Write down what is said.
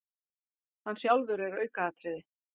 Hann sjálfur er aukaatriði.